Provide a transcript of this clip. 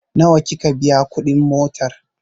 Nawa kika biya kuɗin motar?